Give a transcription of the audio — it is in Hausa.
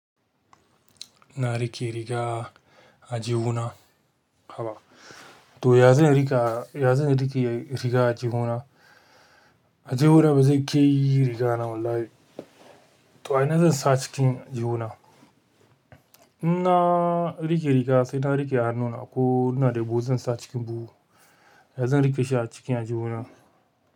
Ina riƙe riga aljihuna. Haba. To ya zan riƙa, ya zan riƙe riga aljihuna? Aljihuna bazai ke yi riga na wallahi. To ai na zan sa cikin aljihuna. In na riƙe riga sai na riƙe hannuna ko ina da buhu zan sa cikin buhu. Ya zan riƙe shi a cikin aljihuna.